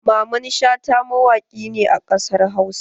Mamman Shata mawaƙi ne a ƙasar Hausa.